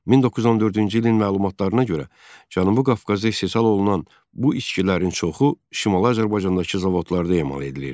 1914-cü ilin məlumatlarına görə, Cənubi Qafqazda istehsal olunan bu içkilərin çoxu Şimali Azərbaycandakı zavodlarda emal edilirdi.